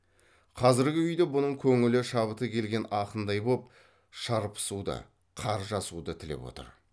қазіргі үйде бұның көңілі шабыты келген ақындай боп шарпысуды қаржасуды тілеп отыр